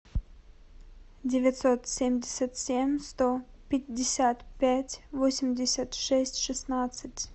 девятьсот семьдесят семь сто пятьдесят пять восемьдесят шесть шестнадцать